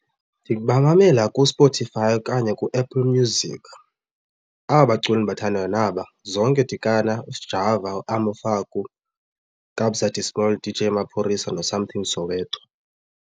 Ndibamamela kuSpotify okanye ku-Apple Music aba baculi ndibathandayo naba, Zonke Dikana, uSjava, uAmo Faku, Kabza De Small, Dj Maphorisa noSomething Soweto.